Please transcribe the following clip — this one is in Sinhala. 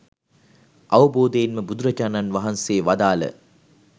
අවබෝධයෙන්ම බුදුරජාණන් වහන්සේවදාළ